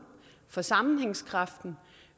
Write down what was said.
for sammenhængskraften